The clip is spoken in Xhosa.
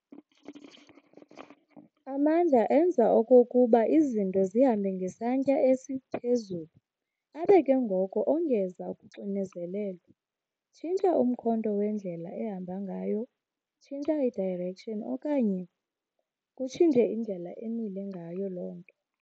Amandla enza okokuba izinto zihambe ngesantya esiphezulu, abe ke ngoko ongeza kuxinzelelo, tshintsha umkhondo wendlela ehamba ngayo. hange direction, okanye kuctshintshe indlela emile ngayo loo nto.